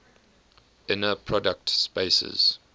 inner product spaces